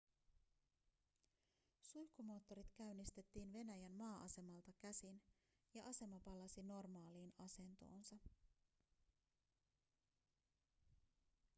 suihkumoottorit käynnistettiin venäjän maa-asemalta käsin ja asema palasi normaaliin asentoonsa